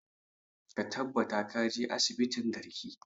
Ka tabbata ka je asibitin garki!